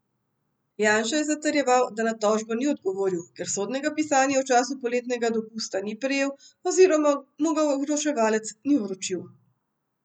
Janša je zatrjeval, da na tožbo ni odgovoril, ker sodnega pisanja v času poletnega dopusta ni prejel oziroma mu ga vročevalec ni vročil.